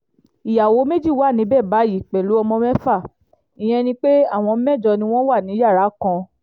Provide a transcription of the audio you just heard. ìyàwó méjì wà níbẹ̀ báyìí pẹ̀lú ọmọ mẹ́fà ìyẹn ni pé àwọn mẹ́jọ ni wọ́n wà ní yàrá kan